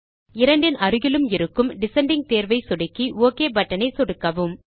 இரண்டின் அருகிலும் இருக்கும் டிசெண்டிங் தேர்வை சொடுக்கி ஒக் பட்டன் ஐ சொடுக்கவும்